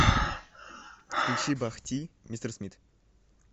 включи бах ти мистер смит